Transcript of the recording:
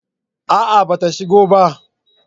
A'a ba ta shigo ba